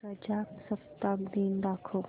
प्रजासत्ताक दिन दाखव